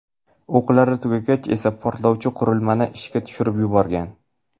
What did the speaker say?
O‘qlari tugagach esa portlovchi qurilmani ishga tushirib yuborgan.